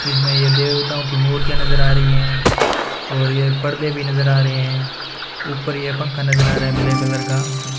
इसमें ये देवताओं की मूर्तियां नजर आ रही हैं और ये पर्दे भी नजर आ रहे ऊपर ये पंखा नजर आ रहा है ब्लैक कलर का।